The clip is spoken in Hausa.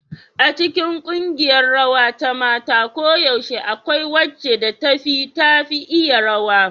A cikin ƙungiyar rawa ta mata koyaushe akwai wacce da ta fi tafi iya rawa.